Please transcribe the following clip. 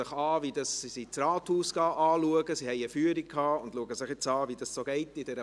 Sie erhielten eine Führung durch das Rathaus und schauen jetzt, wie Politik funktioniert.